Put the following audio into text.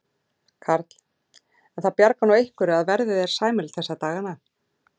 Karl: En það bjargar nú einhverju að verðið er sæmilegt þessa dagana?